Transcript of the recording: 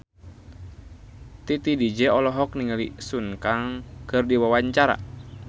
Titi DJ olohok ningali Sun Kang keur diwawancara